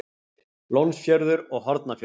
Lónsfjörður og Hornafjörður.